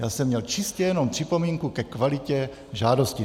Já jsem měl čistě jenom připomínku ke kvalitě žádosti.